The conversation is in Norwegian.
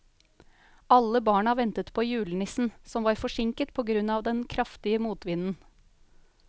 Alle barna ventet på julenissen, som var forsinket på grunn av den kraftige motvinden.